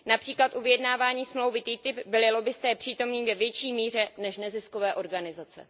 Například u vyjednávání smlouvy TTIP byli lobbisté přítomni ve větší míře než neziskové organizace.